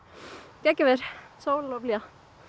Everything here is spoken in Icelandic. geggjað veður sól og blíða